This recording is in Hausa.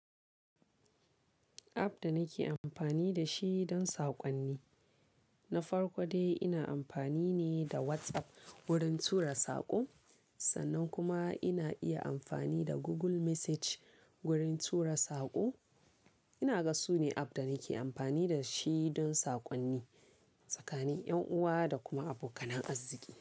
App da nake amfani da shi don saƙonni, na farko dai ina amfani ne da WhatsApp wurin tura saƙo. Sannan kuma ina iya amfani da Google Message wurin tura saƙo. Ina ga su ne app da nake amfani da shi don saƙonni tsakanin ƴan uwa da kuma abokanan azziƙi.